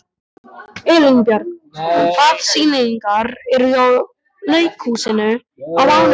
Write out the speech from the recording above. Elínbjörg, hvaða sýningar eru í leikhúsinu á mánudaginn?